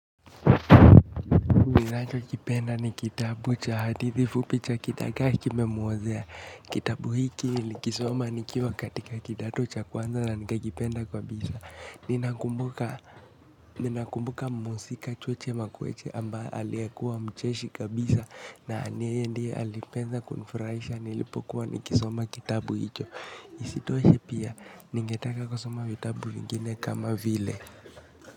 Ninacho kipenda ni kitabu cha hadithi fupi cha kidagaa kime mwozea. Kitabu hiki nilikisoma nikiva katika kidato cha kwanza na nikakipenda kwa bisa. Ninakumbuka muhusika cheche makueche amba aliekuwa mcheshi kabisa. Na yeye ndiye alipenza kunfuraisha nilipokuwa nikisoma kitabu hicho. Isitoshe pia ningetaka kwa soma kitabu vingine kama vile.